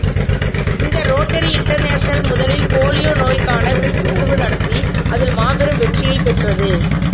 இந்த Rotary International முதலில் polio நோய்க்கான விழிப்புணர்வு நடத்தி அதில் மாபெரும் வெற்றியும் பெற்றது